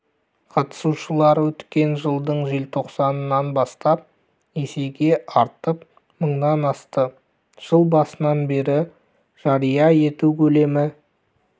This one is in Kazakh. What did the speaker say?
қатысушылар өткен жылдың желтоқсанынан бастап есеге артып мыңнан асты жыл басынан бері жария ету көлемі